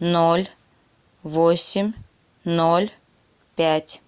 ноль восемь ноль пять